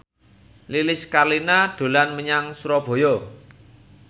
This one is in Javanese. Lilis Karlina dolan menyang Surabaya